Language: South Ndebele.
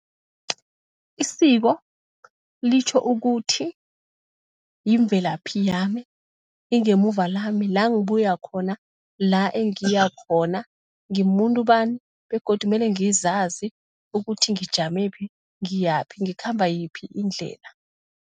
Isiko litjho ukuthi yimvelaphi yami, ingemuva lami, la ngibuya khona, la engiya khona, ngimumuntu bani begodu mele ngizazi ukuthi ngijamephi, ngiyaphi, ngikhamba yiphi indlela.